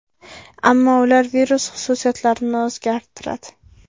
Ammo ular virus xususiyatlarini o‘zgartiradi.